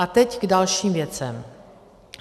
A teď k dalším věcem.